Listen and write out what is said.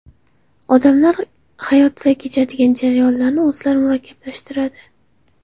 Odamlar hayotida kechadigan jarayonlarni o‘zlari murakkablashtiradi.